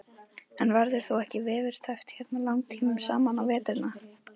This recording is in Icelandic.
En verður þú ekki veðurteppt hérna langtímum saman á veturna?